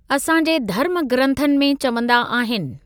असां जे धर्म ग्रंथनि में चवंदा आहिनि।